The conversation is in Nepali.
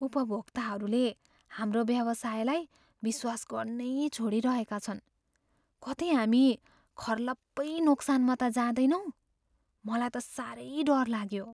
उपभोक्ताहरूले हाम्रो व्यवसायलाई विश्वास गर्नै छोडिरहेका छन्। कतै हामी खर्लप्पै नोक्सानमा त जाँदैनौँ? मलाई त साह्रै डर लाग्यो।